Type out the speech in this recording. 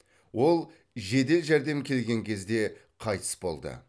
ол жедел жәрдем келген кезде қайтыс болды